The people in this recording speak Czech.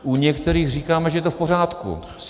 U některých říkáme, že to je v pořádku -